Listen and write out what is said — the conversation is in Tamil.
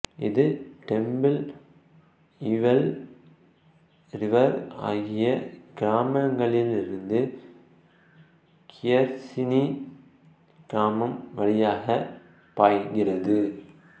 இது டெம்ப்பிள் ஈவெல் ரிவர் ஆகிய கிராமங்களிலிருந்து கியர்சினி கிராமம் வழியாக பாய்கிறது